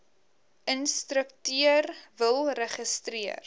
instrukteur wil registreer